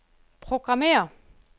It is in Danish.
programmér